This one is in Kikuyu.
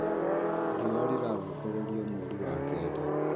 Riũa rirarongorerio mweri wa kenda